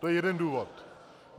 To je jeden důvod.